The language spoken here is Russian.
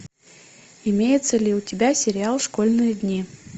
имеется ли у тебя сериал школьные дни